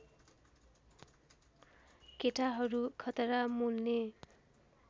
केटाहरू खतरा मोल्ने